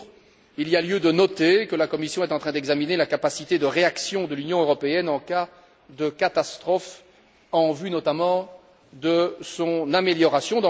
En outre, il y a lieu de noter que la Commission est en train d'examiner la capacité de réaction de l'Union européenne en cas de catastrophe en vue, notamment, de son amélioration.